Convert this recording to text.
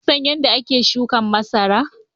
Kun san yadda ake shuka masara?